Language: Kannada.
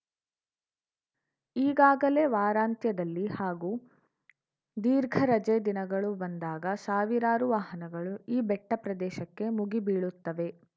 ಈಗಾಗಲೇ ವಾರಾಂತ್ಯದಲ್ಲಿ ಹಾಗೂ ದೀರ್ಘ ರಜೆ ದಿನಗಳು ಬಂದಾಗ ಸಾವಿರಾರು ವಾಹನಗಳು ಈ ಬೆಟ್ಟಪ್ರದೇಶಕ್ಕೆ ಮುಗಿ ಬೀಳುತ್ತವೆ